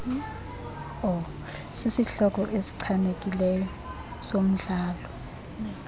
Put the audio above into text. sisihloko esichanekileyo somdlalo